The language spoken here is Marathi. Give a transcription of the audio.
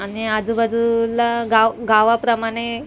आणि आजूबाजूला गाव गावाप्रमाणे --